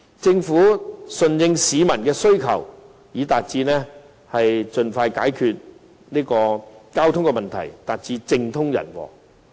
政府順應市民的需求，盡快解決交通問題，便可達致政通人和。